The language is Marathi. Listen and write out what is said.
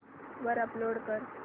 वर अपलोड कर